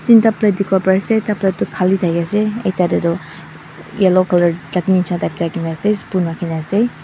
tinta plate dikipo pari asae ekta plate toh Kali taki asae ekta dae toh yellow colour chutney nishina type dae rakina asae spoon rakina asae.